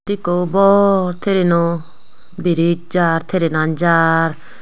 indi ekko bor train no bridge jar trainan jar.